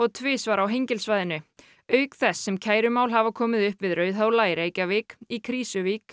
tvisvar á Hengilssvæðinu auk þess sem kærumál hafa komið upp við Rauðhóla í Reykjavík í Krýsuvík